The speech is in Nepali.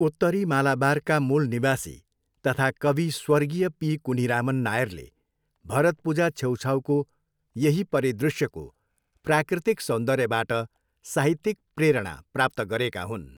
उत्तरी मालाबारका मूल निवासी तथा कवि स्वर्गीय पी. कुन्हिरामन नायरले भरतपुजा छेउछाउको यही परिदृश्यको प्राकृतिक सौन्दर्यबाट साहित्यिक प्रेरणा प्राप्त गरेका हुन्।